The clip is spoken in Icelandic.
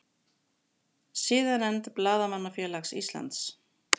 Siðanefnd Blaðamannafélags Íslands